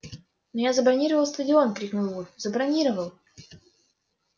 но я забронировал стадион крикнул вуд забронировал